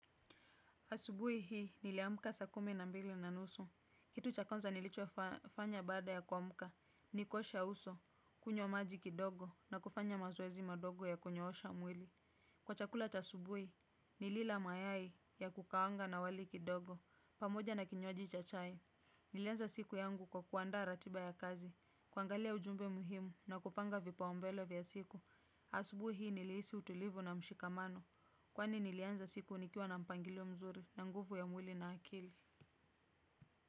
Asubui hii niliamka saa kumi na mbili na nusu. Kitu cha kwanza nilichofanya baada ya kuamka. Ni kuosha uso, kunywa maji kidogo na kufanya mazoezi madogo ya kunyoosha mwili. Kwa chakula cha asubui, nilila mayai ya kukaanga na wali kidogo. Pamoja na kinywaji cha chai. Nilianza siku yangu kwa kuandaa ratiba ya kazi. Kuangalia ujumbe muhimu na kupanga vipaombele vya siku. Asubui hii niliisi utulivu na mshikamano. Kwani nilianza siku nikiwa na mpangilo mzuri na nguvu ya mwili na akili.